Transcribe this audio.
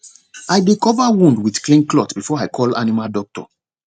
i dey cover wound with clean cloth before i call animal doctor